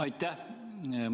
Aitäh!